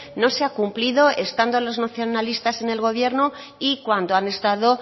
no se ha cumplido estando los nacionalistas en el gobierno y cuando han estado